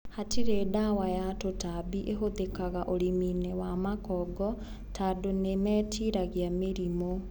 Hatirĩ dawa ya tũtambi ĩhũthĩkaga ũrĩminĩ wa makongo tando nĩmetiragia mĩrimũ.